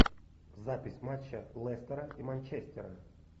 запись матча лестера и манчестера